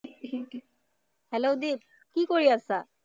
Hello Jit, কি কৰি আছা?